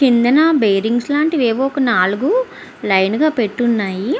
కిందన బేరింగ్స్ లాంటివి ఏవో ఒక నాలుగు లైన్ గా పెట్టి ఉన్నాయి.